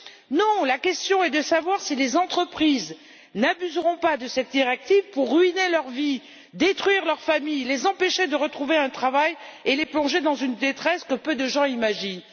Non, la question est de savoir si les entreprises n'abuseront pas de cette directive pour ruiner leur vie, détruire leurs familles, les empêcher de retrouver un travail et les plonger dans une détresse que peu de gens imaginent.